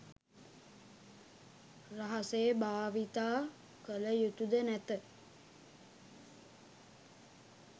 රහසේ භාවිතා කළ යුතුද නැත.